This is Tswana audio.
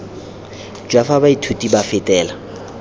jwa fa baithuti ba fetela